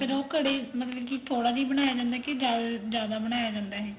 ਫੇਰ ਉਹ ਘੜੇ ਮਤਲਬ ਕੀ ਥੋੜਾ ਜਾ ਹੀ ਬਣਾਇਆ ਜਾਂਦਾ ਕੀ ਜਿਆਦਾ ਬਣਾਇਆ ਜਾਂਦਾ ਇਹ